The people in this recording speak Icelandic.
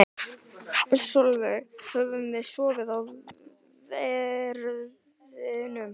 Sólveig: Höfum við sofið á verðinum?